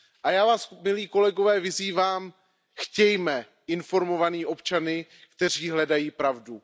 Já vás, milí kolegové, vyzývám, chtějme informované občany, kteří hledají pravdu.